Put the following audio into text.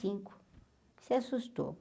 cinco se assustou?